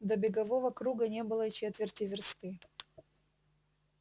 до бегового круга не было и четверти версты